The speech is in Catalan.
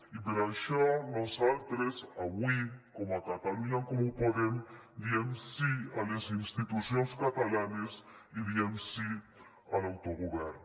i per això nosaltres avui com a catalunya en comú podem diem sí a les institucions catalanes i diem sí a l’autogovern